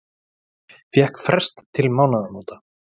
Fékk frest til mánaðamóta